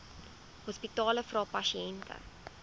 hospitale vra pasiënte